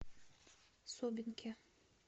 собинке